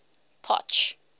potch